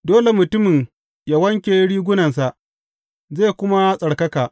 Dole mutumin yă wanke rigunansa, zai kuma tsarkaka.